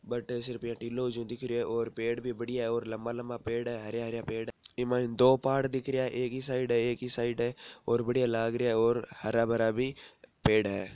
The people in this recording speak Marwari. बटे ये सिर्फ टीलों सो दिख रहियो है और पेड़ भी बढ़िया है और लम्बा लम्बा पेड़ है हरिया हरिया पेड़ है ई मायन दो पहाड़ दिख रहिया है एक इ साइड है एक इ साईड है और बढ़िया लाग रहिया है और हरा भरा भी पेड़ है।